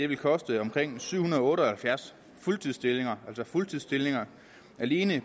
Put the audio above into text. vil koste omkring syv hundrede og otte og halvfjerds fuldtidsstillinger fuldtidsstillinger alene